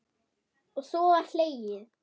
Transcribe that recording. Og svo var hlegið.